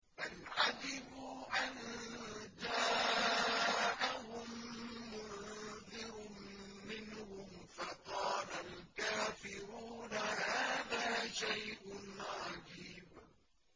بَلْ عَجِبُوا أَن جَاءَهُم مُّنذِرٌ مِّنْهُمْ فَقَالَ الْكَافِرُونَ هَٰذَا شَيْءٌ عَجِيبٌ